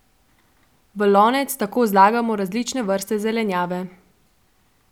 V lonec tako zlagamo različne vrste zelenjave.